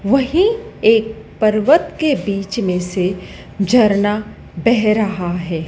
वही एक पर्वत के बीच में से झरना बह रहा है।